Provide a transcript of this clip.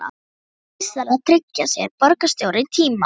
Því sé vissara að tryggja sér borgarstjóra í tíma.